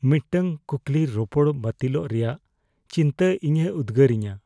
ᱢᱤᱫᱴᱟᱝ ᱠᱩᱠᱞᱤ ᱨᱚᱯᱚᱲ ᱵᱟᱹᱛᱤᱞᱚᱜ ᱨᱮᱭᱟᱜ ᱪᱤᱱᱛᱟᱹ ᱤᱧᱮ ᱩᱫᱜᱟᱹᱨᱤᱧᱟᱹ ᱾